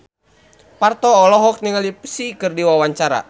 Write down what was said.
Parto olohok ningali Psy keur diwawancara